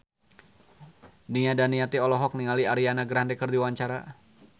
Nia Daniati olohok ningali Ariana Grande keur diwawancara